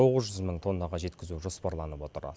тоғыз жүз мың тоннаға жеткізу жоспарланып отыр